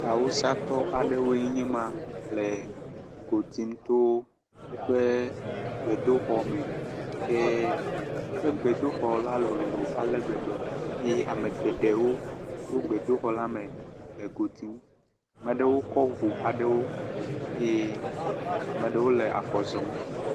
Awusatɔ aɖewoe nye le go ɖim to woƒe gbedoxɔ me. Ke woƒe gbedoxɔ la lolo ale gbegbe eye ame geɖewo tso gbedoxɔ me le go ɖim. Ame ɖewo kɔ ŋu aɖewo eye ame ɖewo le afɔ zɔm.